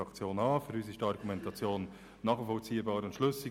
Für uns ist die Argumentation nachvollziehbar und schlüssig.